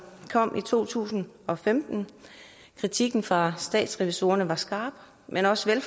kom i to tusind og femten kritikken fra statsrevisorerne var skarp men også